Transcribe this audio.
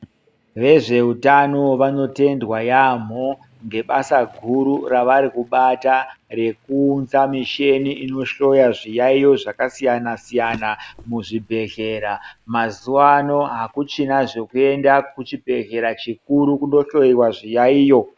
Vezveutano vanotendwa yaamho ngebasa guru ravari kubata, rekuunza michini inohloya zviyayo zvakasiyana-siyana muzvibhedhlera. Mazuwa ano akuchina zvekuenda kuchibhedhlera chikuru kundohloiwa zviyaiyo.